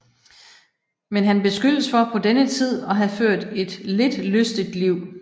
Men han beskyldes for på denne tid at have ført et lidt lystigt liv